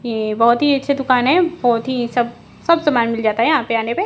ये बहोत ही अच्छी दुकान है बहोत ही सब सब समान मिल जाता है यहां पे आने पे।